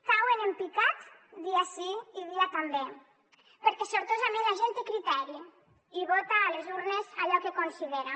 cauen en picat dia sí i dia també perquè sortosament la gent té criteri i vota a les urnes allò que considera